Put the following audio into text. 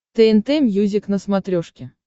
тнт мьюзик на смотрешке